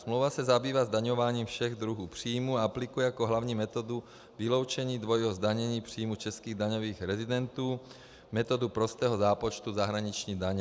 Smlouva se zabývá zdaňováním všech druhů příjmů a aplikuje jako hlavní metodu vyloučení dvojího zdanění příjmu českých daňových rezidentů metodu prostého zápočtu zahraniční daně.